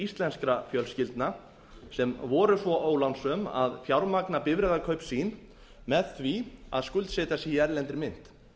íslenskra fjölskyldna sem voru svo ólánsöm að fjármagna bifreiðakaup sín með því að skuldsetja sig í erlendri mynt